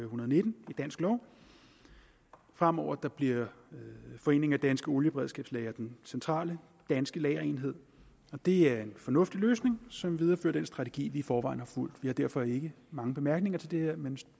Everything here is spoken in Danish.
hundrede og nitten i dansk lov fremover bliver foreningen danske olieberedskabslagre den centrale danske lagerenhed det er en fornuftig løsning som viderefører den strategi vi i forvejen har fulgt vi har derfor ikke mange bemærkninger til det her men